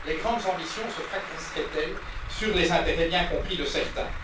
Les grandes ambitions se fracasseraient elles sur les intérêts bien compris de certains?